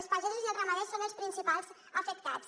els pagesos i els ramaders són els principals afectats